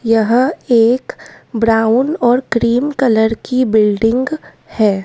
यह एक ब्राउन और क्रीम कलर की बिल्डिंग है।